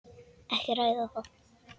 Ekki að ræða það.